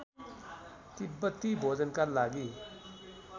तिब्‍बती भोजनका लागि